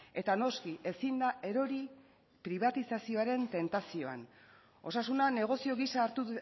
eta noski ezin da erori pribatizazioaren tentazioan osasuna negozio gisa hartu